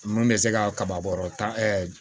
Mun bɛ se ka kaba bɔrɔ tan